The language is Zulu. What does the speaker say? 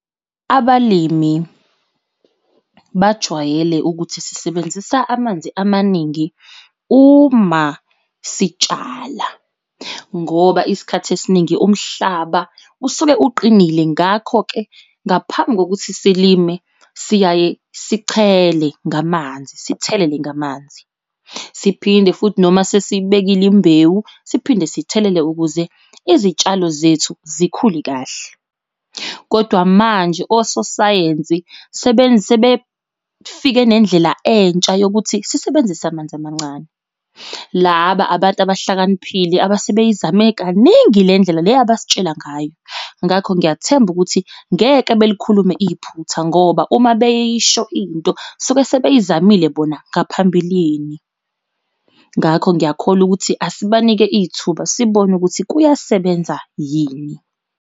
Abalimi bajwayele ukuthi sisebenzisa amanzi amaningi uma sitshala ngoba isikhathi esiningi umhlaba usuke uqinile ngakho-ke ngaphambi kokuthi silime siyaye sichele ngamanzi sithelele ngamanzi. Siphinde futhi noma sesibekile imbewu siphinde sithelele ukuze izitshalo zethu zikhule kahle, kodwa manje ososayensi sebefike nendlela entsha yokuthi sisebenzise amanzi amancane. Laba abantu abahlakaniphile abasebeyizame kaningi le ndlela le abasitshela ngayo. Ngakho ngiyathemba ukuthi ngeke belikhulume iphutha ngoba uma beyisho into suke sebeyizamile bona ngaphambilini. Ngakho ngiyakholwa ukuthi asibanike ithuba sibone ukuthi kuyasebenza yini.